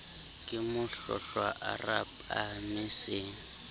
ke mohlohlwa o rapame se